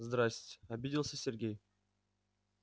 здрассте обиделся сергей